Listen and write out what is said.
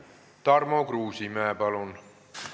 Tarmo Kruusimäe, palun!